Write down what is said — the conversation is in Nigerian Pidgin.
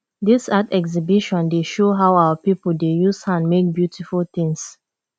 dis art exhibition dey show how our pipo dey use hand make beautiful tins